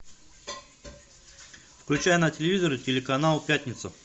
включай на телевизоре телеканал пятница